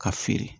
Ka feere